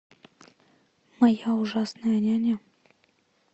моя ужасная няня